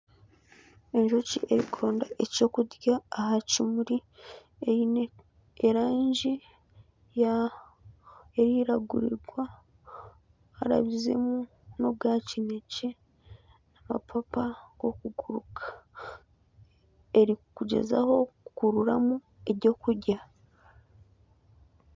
Enjoki erikwenda ekyokurya aha kimuri eine erangi ya eriragura harabizemu n'obwa kinekye, amapapa g'okuguruka. Erikugyezaho kukurutamu ebyokurya.